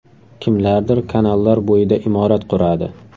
Kimlardir kanallar bo‘yida imorat quradi.